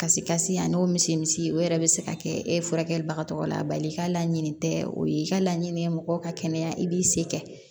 Kasi kasi ani o misimisi o yɛrɛ bɛ se ka kɛ e furakɛli bagatɔla bali ka laɲini tɛ o ye i ka laɲini ye mɔgɔ ka kɛnɛya i b'i se kɛ